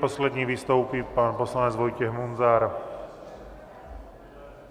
Poslední vystoupí pan poslanec Vojtěch Munzar.